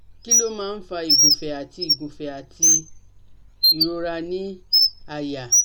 Kí ló máa ń fa igunfe àti igunfe àti ìrora ni àyà?